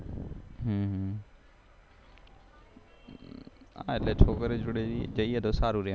હા એટલે છોકરીઓ જોડે જઈએ તો સારું રે એમ